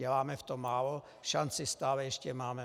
Děláme v tom málo, šanci stále ještě máme.